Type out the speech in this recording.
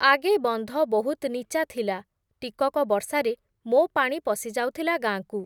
ଆଗେ ବନ୍ଧ ବହୁତ୍ ନୀଚା ଥିଲା, ଟିକକ ବର୍ଷାରେ, ମୋ’ପାଣି ପଶିଯାଉଥିଲା, ଗାଁକୁ ।